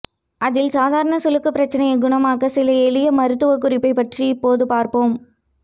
அதில் சாதாரண சுளுக்கு பிரச்சனையை குணமாக்க சில எளிய மருத்துவக் குறிப்பைப் பற்றி இப்போது பார்ப்போம்